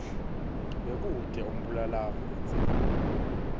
bekute umbulalave kadzeni